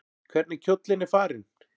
Hvernig kjóllinn er farinn!